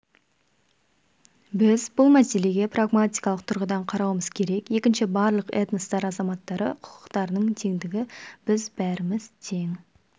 біз бұл мәселеге прагматикалық тұрғыдан қарауымыз керек екінші барлық этностар азаматтары құқықтарының теңдігі біз бәріміз тең